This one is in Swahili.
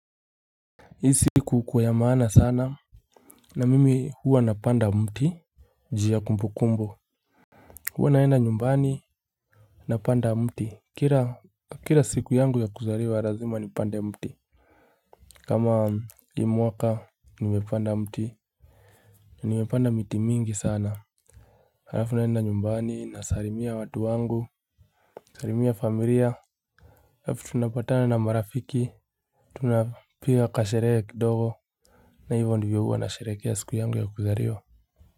Isi kukua ya maana sana na mimi huwa napenda mti jia kumbukumbu hua naenda nyumbani napanda kira siku yangu ya kuzaliwa lazima nipande mti kama hi mwaka ni mepanda mti nimepanda miti mingi sana halafu naenda nyumbani na sarimia watu wangu salimia familia halafu tunapatana na marafiki tunapiga kasherehe kidogo na hivyo ndivyo huwa na sherekea siku yangu ya kuzariwa.